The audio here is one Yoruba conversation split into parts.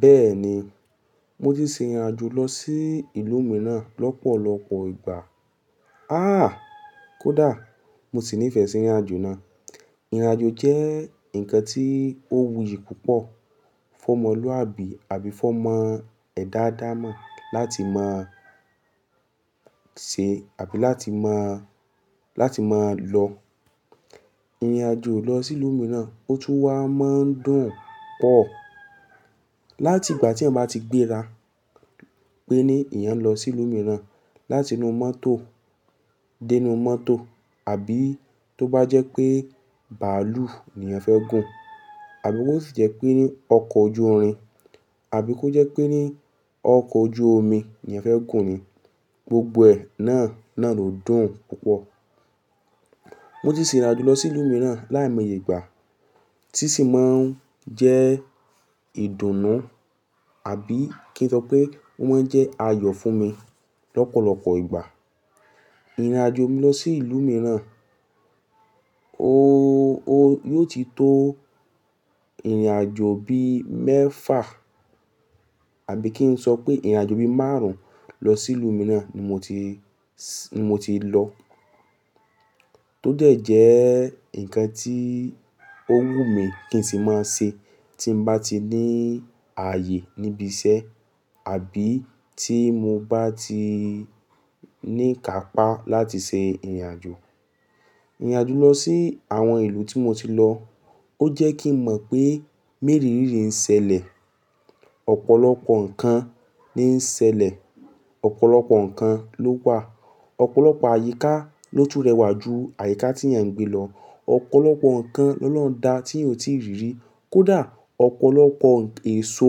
Bẹ́ẹ̀ni, mo ti ṣe ìrìnàjò lọ sí ìlú mìíràn lọ́pọ̀lọpọ̀ ìgbà. Àn, kódà mo sì nífẹ̀ẹ́ sí ìrìnàjò náà. Ìrìnàjò jẹ́ ǹkan tí ó wuyì púpọ̀, fún ọmọlúàbí àbí fún ọmọ ẹ̀dá adáamọ́ láti máa ṣe àbí láti máa lọ. Ìrìnàjò lọ sí ìlú mìíràn, ó tún wá máa ń dùn pọ̀. Láti ìgbà tí ẹ̀ bá ti gbéra pé ní ìyẹn lọ sí ìlú mìíràn láti inú mọ́tò dé inú mọ́tò àbí tó bá jẹ́ pé bàálù ni ìyẹn fẹ́ gùn àbí kó sì jẹ́ pé ní ọkọ̀ ojú irin àbí kó jẹ́ pé ní ọkọ̀ ojú omi ni ìyẹn fẹ́ gùn ni, gbogbo ẹ̀ náà lòdùn púpọ̀. Mo ti ṣe ìrìnàjò lọ sí ìlú mìíràn láìmẹ́yìgbà, tí sì máa ń jẹ́ ìdùnnú àbí kí n sọ pé wọ́n jẹ́ ayọ̀ fún mi lọ́pọ̀lọpọ̀ ìgbà. Ìrìnàjò mi lọ sí ìlú mìíràn, ó ti tó ìrìnàjò bí mẹ́fà àbí kí n sọ pé ìrìnàjò bí márùn-ún lọ sí ìlú mìíràn ni mo ti lọ. Tó dẹ̀ jẹ́ ǹkan tí ó wù mí kí n sì máa ṣe tí m bá ti ní ààyè níbi iṣẹ́ àbí tí mo bá ti ní ká pà láti ṣe ìrìnàjò. Ìrìnàjò lọ sí àwọn ìlú tí mo ti lọ, ó jẹ́ kí n mọ̀ pé mérì rí rí ń ṣẹlẹ̀, ọ̀pọ̀lọpọ̀ ǹkan ní ń ṣẹlẹ̀, ọ̀pọ̀lọpọ̀ ǹkan ló wà, ọ̀pọ̀lọpọ̀ àyíká ló tún rẹwà ju àyíká tí ìyẹn ń gbé lọ, ọ̀pọ̀lọpọ̀ ǹkan lọ́ lọ́hun dá tí n ò tí rí rí. Kódà ọ̀pọ̀lọpọ̀ èso,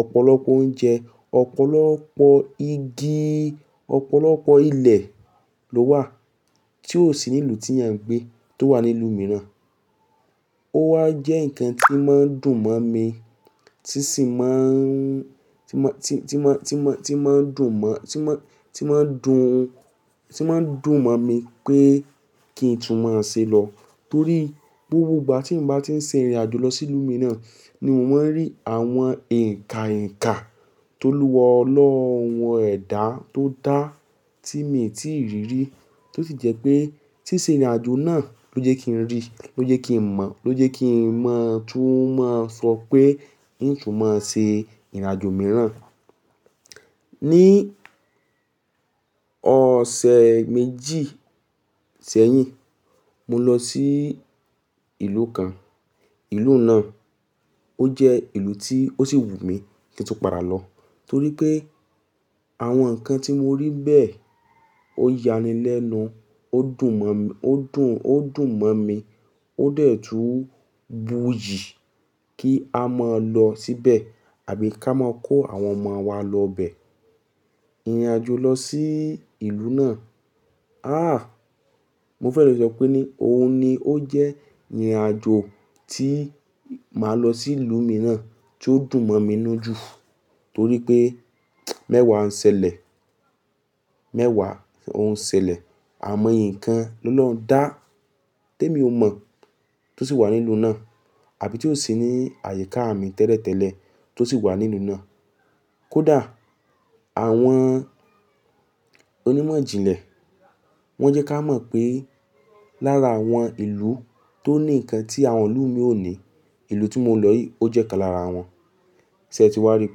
ọ̀pọ̀lọpọ̀ oúnjẹ, ọ̀pọ̀lọpọ̀ igi, ọ̀pọ̀lọpọ̀ ilẹ̀ ló wà tí ò sí ní ìlú tí ìyẹn ń gbé tó wà ní ìlú mìíràn. Ó wá jẹ́ ǹkan tí máa ń dùn mọ́ mi, tí sì máa ń dùn mọ́ mi pé kí n tún máa ṣe lọ. Torí pé gbogbo ìgbà tí mo bá ti ń ṣe ìrìnàjò lọ sí ìlú mìíràn ni mò ń rí àwọn ǹka-ǹka tó lúwa ọlọhun ẹ̀dá tó dá tí mi ò tí rí rí, tó sì jẹ́ pé tí ṣe ìrìnàjò náà ló jẹ́ kí n rí, ló jẹ́ kí n mọ̀, ló jẹ́ kí n mọ̀ túmọ̀ sọ pé n ò tún máa ṣe ìrìnàjò mìíràn. Ní ọ̀sẹ̀ méjì sẹ́yìn, mo lọ sí ìlú kan. Ìlú náà ó jẹ́ ìlú tí ó sì wù mí kí n tún padà lọ torí pé àwọn ǹkan tí mo rí bẹ́ẹ̀ ó yanilénu, ó dùn mọ́ mi, ó dẹ̀ tú wuyì kí a máa lọ síbẹ̀ àbí ká máa kó àwọn ọmọ wa lọ bẹ. Ìrìnàjò lọ sí ìlú náà, àn, mo fẹ́ sọ pé ní òun ni ó jẹ́ ìrìnàjò tí màá lọ sí ìlú mìíràn tí ó dùn mọ́ mi nù jù torí pé mẹ́wàá ń ṣẹlẹ̀, mẹ́wàá òun ń ṣẹlẹ̀, àìmọ̀ ìyè kan lọlọhun dá tí mi ò mọ̀ tó sì wà ní ìlú náà àbí tó sì ní àyíká mi tẹ́lẹ̀tẹ́lẹ̀ tó sì wà ní ìlú náà. Kódà àwọn onímọ̀ ìjìnlẹ̀ wọn jẹ́ ká mọ̀ pé lára àwọn ìlú tó ní ǹkan tí àwọn ìlú mi ò ní, ìlú tí mo lọ yìí ó jẹ́ kan lára wọn. Ṣé ẹ ti wá rí i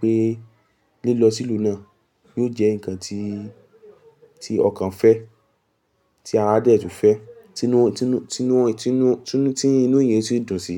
pé lílọ sí ìlú náà yóò jẹ́ ǹkan tí ọkàn fẹ́, tí ara dẹ̀ tún fẹ́, tí inú èyí sì dùn sí.